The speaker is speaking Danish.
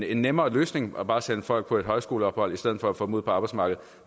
en nemmere løsning bare at sende folk på et højskoleophold i stedet for at få dem ud på arbejdsmarkedet